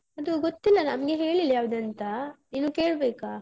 ಅದು ಗೊತ್ತಿಲ್ಲ ನಮ್ಗೆ ಹೇಳಿಲ್ಲ ಯಾವ್ದಂತ, ಇನ್ನು ಕೇಳ್ಬೇಕಾ.